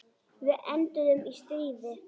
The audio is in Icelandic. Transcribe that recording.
Við enduðum í stríði.